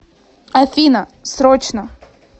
афина срочно